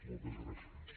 moltes gràcies